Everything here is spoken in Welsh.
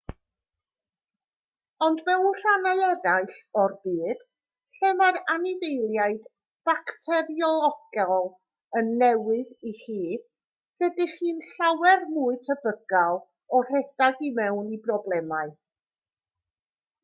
ond mewn rhannau eraill o'r byd lle mae'r anifeiliaid bacteriolegol yn newydd i chi rydych chi'n llawer mwy tebygol o redeg i mewn i broblemau